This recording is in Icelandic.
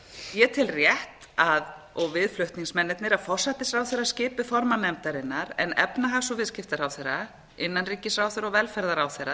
ég tel rétt og við flutningsmennirnir að forsætisráðherra skipi formann nefndarinnar en efnahags og viðskiptaráðherra innanríkisráðherra og velferðarráðherra